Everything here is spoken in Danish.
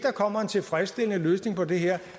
kommer en tilfredsstillende løsning på det her